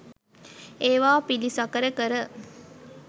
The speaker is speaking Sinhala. ඒවා පිළිසකර කර